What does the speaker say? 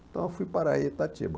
Então eu fui para Itatiba.